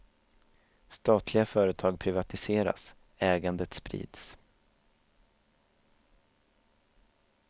Statliga företag privatiseras, ägandet sprids.